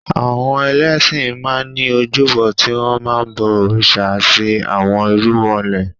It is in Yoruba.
Àwọn ẹlẹ́ṣin máa ní ojúbọ tí wọn máa ń bọ òrìṣà àti àwọn irúmọlẹ̀.